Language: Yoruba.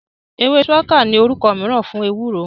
Ewé ṣuwaka ní orúkọ mìíràn fún ewúro